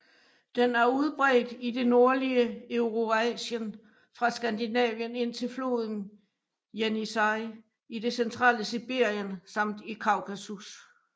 Den er udbredt i det nordlige Eurasien fra Skandinavien indtil floden Jenisej i det centrale Sibirien samt i Kaukasus